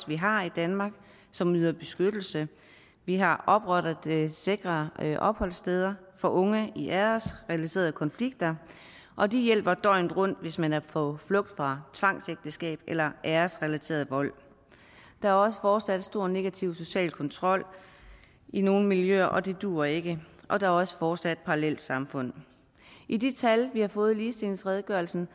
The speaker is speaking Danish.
vi har i danmark som yder beskyttelse vi har oprettet sikre opholdssteder for unge i æresrelaterede konflikter og de hjælper døgnet rundt hvis man er på flugt fra tvangsægteskab eller æresrelateret vold der er også fortsat en stor negativ social kontrol i nogle miljøer og det duer ikke og der er også fortsat parallelsamfund i de tal vi har fået i ligestillingsredegørelsen